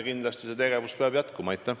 See tegevus peab kindlasti jätkuma.